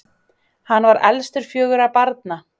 Hann var elstur fjögurra barna.